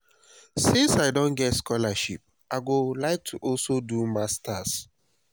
since i don get scholarship i go like to also also do masters